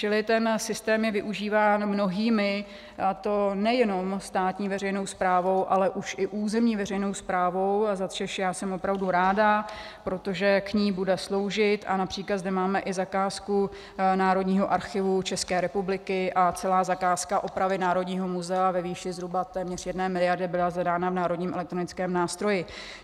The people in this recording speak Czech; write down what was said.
Čili ten systém je využíván mnohými, a to nejenom státní veřejnou správou, ale už i územní veřejnou správou, za což já jsem opravdu ráda, protože k ní bude sloužit, a například zde máme i zakázku Národní archivu České republiky a celá zakázka opravy Národního muzea ve výši zhruba téměř jedné miliardy byla zadána v Národním elektronickém nástroji.